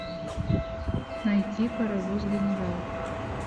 найти паровоз генерал